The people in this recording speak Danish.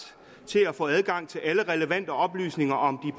til at få adgang til alle relevante oplysninger om